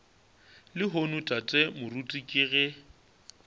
lehono tate moruti ke ge